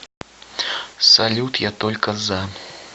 салют я только за